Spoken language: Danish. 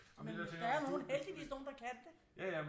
Og men øh der er jo nogle heldigvis nogle der kan det